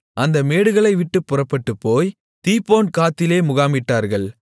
அந்த மேடுகளை விட்டுப்பறப்பட்டுப்போய் தீபோன்காத்திலே முகாமிட்டார்கள்